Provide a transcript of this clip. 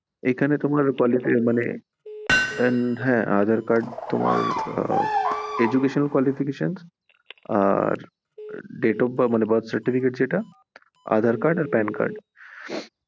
এখানে তোমার মানে aadhar card তোমার হম educational qualifications, date of birth তোমার birth certificate যেটা আর aadhar card আর pan card